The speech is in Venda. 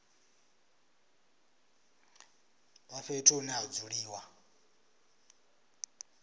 vha fhethu hune ha dzuliwa